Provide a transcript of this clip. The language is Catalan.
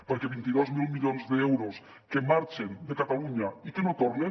perquè vint dos mil milions d’euros que marxen de catalunya i que no tornen